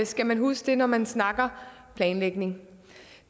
skal man huske det når man snakker planlægning